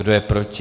Kdo je proti?